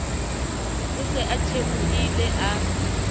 o se a theohile a